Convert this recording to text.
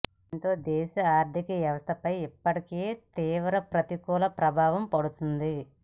దీంతో దేశ ఆర్థిక వ్యవస్థపై ఇప్పటికే తీవ్ర ప్రతికూల ప్రభావం పడుతోంది